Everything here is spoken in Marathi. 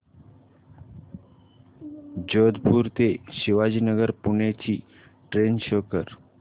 जोधपुर ते शिवाजीनगर पुणे ची ट्रेन शो कर